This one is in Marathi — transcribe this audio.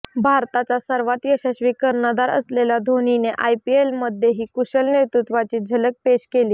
भारताचा सर्वात यशस्वी कर्णधार असलेल्या धोनीने आयपीएलमध्येही कुशल नेतृत्वाची झलक पेश केली